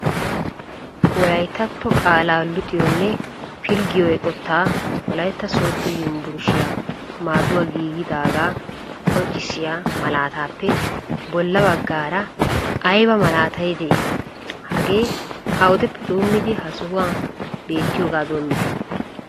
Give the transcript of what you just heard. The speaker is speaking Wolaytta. Wolayttatto qaalaa luxiyoonne pilggiyo eqqota Wolaytta Sooddo Yunbburshiya maadduwa giigidaaga qonccissiya malatappe bolla baggaara aybba malaatay de'i? hagee awudeppe doommidi ha sohuwa beettiyooga doommide?